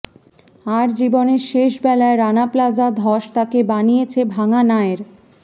আর জীবনের শেষ বেলায় রানা প্লাজা ধস তাকে বানিয়েছে ভাঙা নায়ের